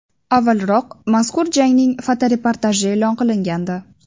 Avvalroq mazkur jangning fotoreportaji e’lon qilingandi .